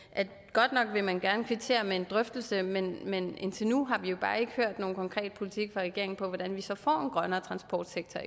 godt nok vil man gerne kvittere med en drøftelse men men indtil nu har vi jo bare ikke hørt nogen konkret politik fra regeringen på hvordan vi så får grønnere transportsektor